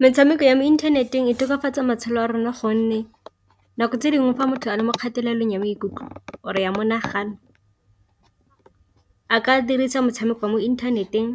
Metshameko ya mo inthaneteng e tokafatsa matshelo a rona, gonne nako tse dingwe fa motho a le mo kgatelelong ya maikutlo or ya monagano a ka dirisa motshameko wa mo inthaneteng